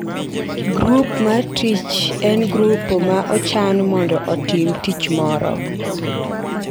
grup mar tich en grup ma ochan mondo otim tich moro.